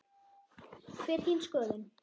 Hver er þín skoðun?